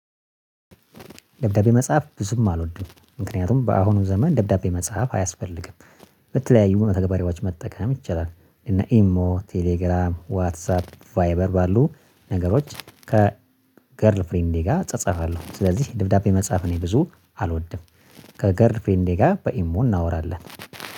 ደብዳቤ መጽሐፍ ብዙም አልወድም ምክንያቱም በአሁኑ ዘመን ደብዳቤ መጽሐፍ አያስፈልግም። በተለያዩ መተግበሪያዎች መጠቀም ይቻላል እና ኢሞ ቴሌግራም ዋትሳፕ ቫይበር ባሉ ነገሮች ከገርል ፍሬንዴ ጋር እጸጸፋለሁ። ስለዚህ ድብዳቤ መጻፍ እኔ ብዙ አልወድም። ከገርል ፍሬንዴ ጋር በኢሞ እናወራለን